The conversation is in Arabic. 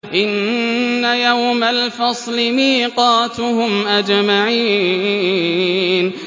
إِنَّ يَوْمَ الْفَصْلِ مِيقَاتُهُمْ أَجْمَعِينَ